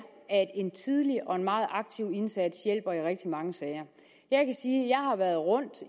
at en tidlig og en meget aktiv indsats hjælper i rigtig mange sager jeg kan sige at jeg har været rundt